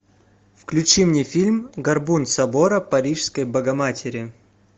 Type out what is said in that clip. включи мне фильм горбун собора парижской богоматери